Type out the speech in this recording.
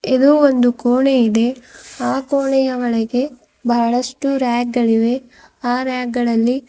ಇದು ಒಂದು ಕೋಣೆ ಇದೆ ಆ ಕೋಣೆಯ ಒಳಗೆ ಬಹಳಷ್ಟು ರ್ಯಾಕ್ ಗಳಿವೆ ಆ ರ್ಯಾಕ್ ಗಳಲ್ಲಿ --